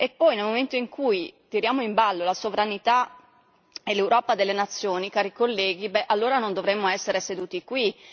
E poi nel momento in cui tiriamo in ballo la sovranità e l'Europa delle nazioni, cari colleghi, allora non dovremmo essere seduti qui.